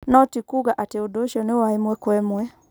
No tikuuga atĩ ũndũ ucio nĩ wa ĩmwe kwa ĩmwe.